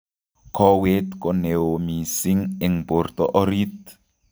Koweet ko neoo mising' eng borto orit